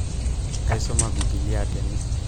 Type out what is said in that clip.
aisuma bililia tene